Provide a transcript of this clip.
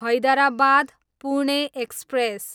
Hyderabad, Pune express